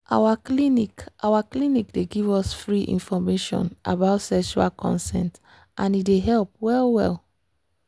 our clinic our clinic dey give us free information about sexual consent and e dey help well well.